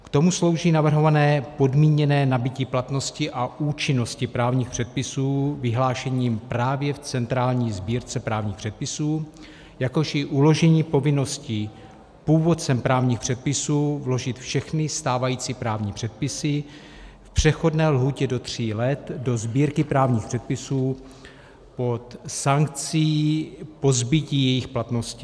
K tomu slouží navrhované podmíněné nabytí platnosti a účinnosti právních předpisů vyhlášením právě v centrální sbírce právních předpisů, jakož i uložení povinnosti původcem právních předpisů vložit všechny stávající právní předpisy v přechodné lhůtě do tří let do sbírky právních předpisů pod sankcí pozbytí jejich platnosti.